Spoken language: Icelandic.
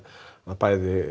bæði